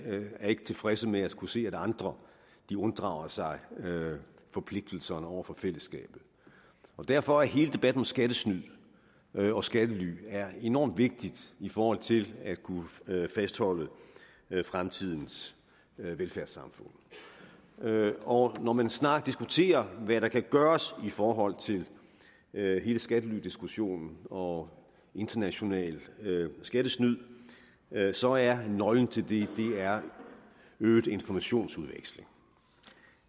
er ikke tilfredse med at skulle se at andre unddrager sig forpligtelserne over for fællesskabet derfor er hele debatten om skattesnyd og skattely enormt vigtig i forhold til at kunne fastholde fremtidens velfærdssamfund og når man diskuterer hvad der kan gøres i forhold til hele skattelydiskussionen og internationalt skattesnyd så er nøglen til det øget informationsudveksling